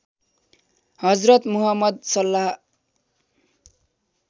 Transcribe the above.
Hazrat Muhammad सल्लल्लाह